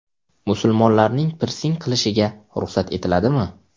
Musulmonlarning pirsing qilishiga ruxsat etiladimi?.